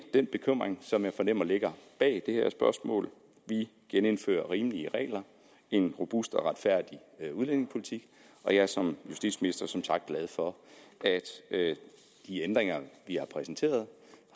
den bekymring som jeg fornemmer ligger bag det her spørgsmål vi genindfører rimelige regler en robust og retfærdig udlændingepolitik og jeg er som justitsminister som sagt glad for at de ændringer vi har præsenteret